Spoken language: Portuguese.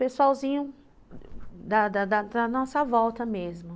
Pessoalzinho da nossa volta mesmo.